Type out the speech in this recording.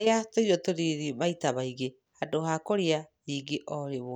Rĩa tũirio tũnini maita maingĩ handũ ha kũrĩa nyingĩ o rĩmwe.